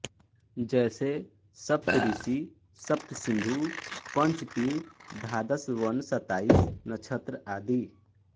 जैसे सप्तऋषि सप्तसिन्धु पंच पीर द्वादश वन सत्ताईस नक्षत्र आदि